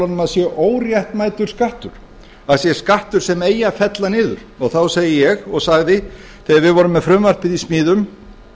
að sé óréttmætur skattur að sé skattur sem eigi að fella niður og þá segi ég og sagði þegar við vorum með frumvarpið í smíðum